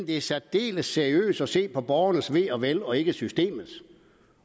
det er særdeles seriøst at se på borgernes ve og vel og ikke systemets